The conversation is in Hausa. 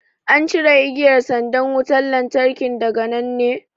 An cire igiyar sandan wutan lantarkin daga nan ne?